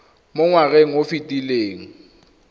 mo ngwageng o o fetileng